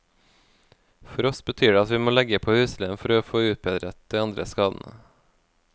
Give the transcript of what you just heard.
For oss betyr det at vi må legge på husleien for å få utbedret de andre skadene.